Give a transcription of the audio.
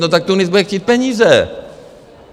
No tak Tunis bude chtít peníze.